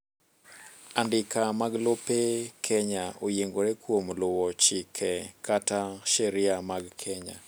andika mag lope kenya oyiengore kuom luwo chike kata sheria mag Kenya